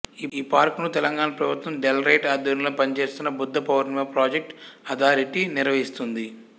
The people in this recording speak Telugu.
ఈ పార్కును తెలంగాణా ప్రభుత్వ డైరెల్టరేట్ ఆధ్వర్యంలో పనిచేస్తున్న బుద్ధపౌర్ణిమా ప్రాజెక్ట్ అథారిటీ నిర్వహిస్తుంది